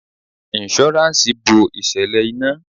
Insuransi bo ìṣẹ̀lẹ̀ ina.